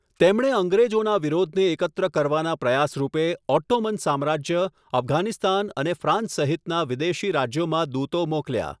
તેમણે અંગ્રેજોના વિરોધને એકત્ર કરવાના પ્રયાસરૂપે ઓટ્ટોમન સામ્રાજ્ય, અફઘાનિસ્તાન અને ફ્રાન્સ સહિતના વિદેશી રાજ્યોમાં દૂતો મોકલ્યા.